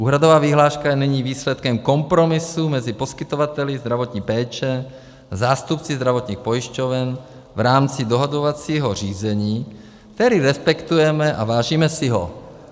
Úhradová vyhláška je nyní výsledkem kompromisu mezi poskytovateli zdravotní péče, zástupci zdravotních pojišťoven, v rámci dohodovacího řízení, které respektujeme a vážíme si ho.